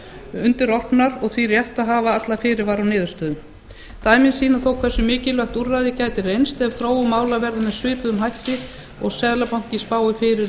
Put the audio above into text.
undirorpnar og því rétt að hafa alla fyrirvara á niðurstöðum dæmin sýna þó hversu mikilvægt úrræðið gæti reynst ef þróun efnahagsmála þjóðarinnar verður með svipuðum hætti og seðlabankinn spáir fyrir